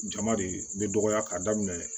Jama de bɛ dɔgɔya k'a daminɛ